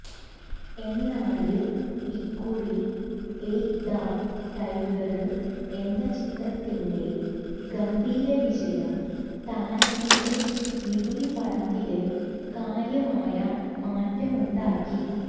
എന്നാല് ഇക്കുറി എക് ഥാ ടൈഗര് എന്ന ചിത്രത്തിന്റെ ഗംഭീരവിജയം താരത്തിന്റെ നികുതിപ്പണത്തില് കാര്യമായ മാറ്റമുണ്ടാക്കി